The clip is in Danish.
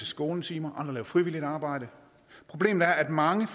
skånetimer andre lave frivilligt arbejde problemet er at mange